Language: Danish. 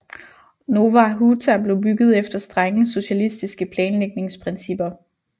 Nowa Huta blev bygget efter strenge socialistiske planlægningsprincipper